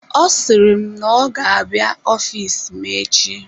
Ọ siri n'ọga-abịa ofiisi m echi.